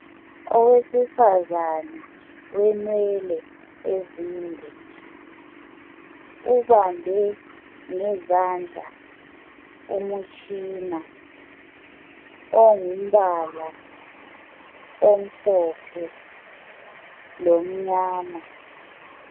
Owesifazana wenwele ezinde ubambe ngezandla umutshina ongumbala omhlophe lomnyama.